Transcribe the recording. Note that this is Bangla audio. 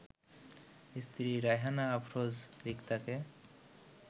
স্ত্রী রায়হানা আফরোজ রিক্তাকে